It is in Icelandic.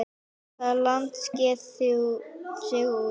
Hvaða land sker sig úr?